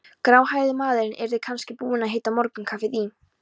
Gráhærði maðurinn yrði kannski búinn að hita morgunkaffið í